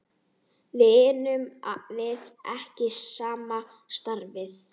Vinnum við ekki sama starfið?